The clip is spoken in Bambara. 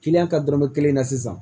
Kiliyan ka dɔrɔmɛ kelen na sisan